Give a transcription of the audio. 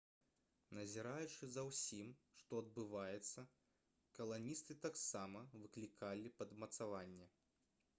назіраючы за ўсім што адбываецца каланісты таксама выклікалі падмацаванне